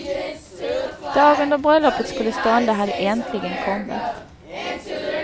Dagen då bröllopet skulle stånda hade äntligen kommit.